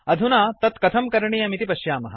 अधुना तत्कथं करणीयमिति पश्यामः